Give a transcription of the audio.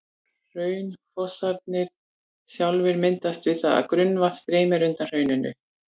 Hraunfossarnir sjálfir myndast við það að grunnvatn streymir undan hrauninu.